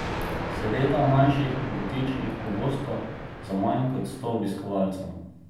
Seveda manjših, butičnih, pogosto za manj kot sto obiskovalcev.